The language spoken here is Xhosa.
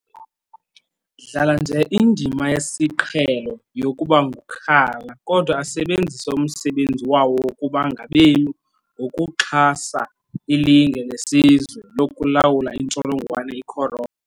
dlala nje indima yesiqhe lo yokubangukhala, kodwa asebenzise umsebenzi wawo wokuba ngabemi ngokuxha sa ilinge lesizwe lokulawula intsholongwane icorona .